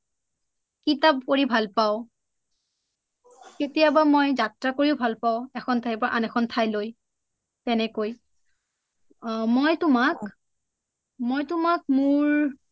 কিতাপ পঢ়ি ভাল পাও কেতিয়াবা মই যাএা কৰিও ভাল পাও এখন ঠাই পৰা আন এখন ঠালৈ তেনেকৈ মই তোমাক মই তোমাক মোৰ